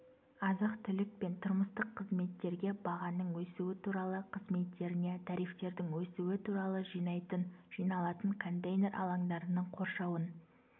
азық-түлік пен тұрмыстық қызметтерге бағаның өсуі туралы қызметтеріне тарифтердің өсуі туралы жинайтын жиналатын контейнер алаңдарының қоршауын